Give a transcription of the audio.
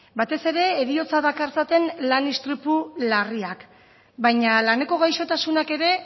batez ere heriotza dakartzaten lan istripu larriak baina laneko gaixotasunak ere